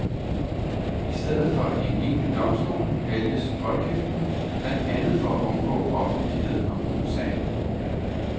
I stedet for en egentlig domstol vælges voldgiften, blandt andet for at undgå offentlighed om sagen.